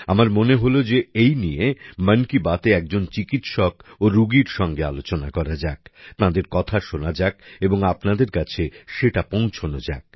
আমার মনে হলো যে এই নিয়ে মন কি বাতে একজন চিকিৎসক ও রুগীর সঙ্গে আলোচনা করা যাক তাদের কথা শোনা যাক এবং আপনাদের কাছে সেটা পৌঁছানো যাক